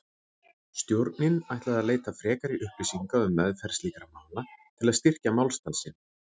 Stjórnin ætlaði að leita frekari upplýsinga um meðferð slíkra mála til að styrkja málstað sinn.